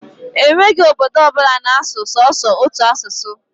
E nweghi obodo ọbụla na-asụ sọsọ otu asụsụ.